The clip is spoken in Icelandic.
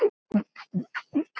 Hún dula.